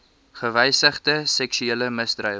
gewysigde seksuele misdrywe